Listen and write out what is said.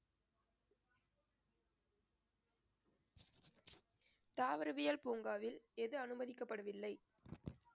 தாவரவியல் பூங்காவில் எது அனுமதிக்கப்படவில்லை